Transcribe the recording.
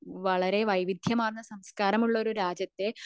വളരെ വൈവിധ്യമാർന്ന സംസ്കാരമുള്ള ഒരു രാജ്യത്ത്